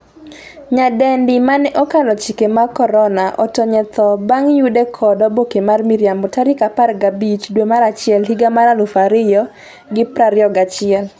nyadendi mane 'okalo chike mag korona' otony e tho bang' yude kod oboke mar miriambo tarik 15 dwe mar achiel higa mar 2021